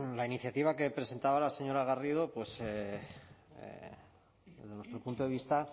la iniciativa que presentaba la señora garrido desde nuestro punto de vista